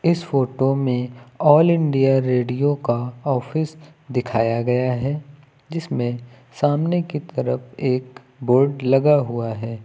इस फोटो में all India radio का ऑफिस दिखाया गया है जिसमें सामने की तरफ एक बोर्ड लगा हुआ है।